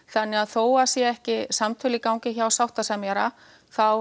þannig að þó það séu ekki samtöl í gangi hjá sáttasemjara þá